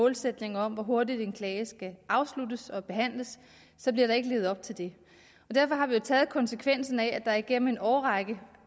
målsætninger om hvor hurtigt en klage skal afsluttes og behandles så bliver der ikke levet op til det derfor har vi jo taget konsekvensen af at der igennem en årrække